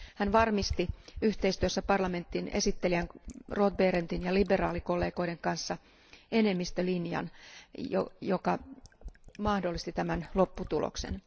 Hän varmisti yhteistyössä parlamentin esittelijän Roth Behrendtin ja liberaalikollegoiden kanssa enemmistölinjan, joka mahdollisti tämän lopputuloksen.